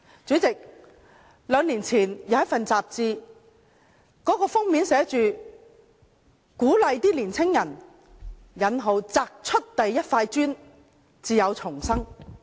主席，兩年前一本雜誌封面鼓勵年青人擲出第一塊磚才有重生。